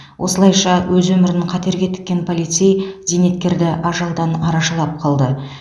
осылайша өз өмірін қатерге тіккен полицей зейнеткерді ажалдан арашалап қалды